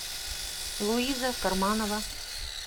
луиза карманова